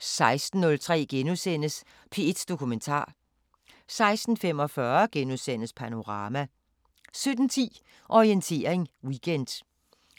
16:03: P1 Dokumentar * 16:45: Panorama * 17:10: Orientering Weekend